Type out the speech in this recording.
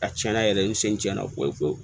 A tiɲɛna yɛrɛ n sen tɛ na koyi koyi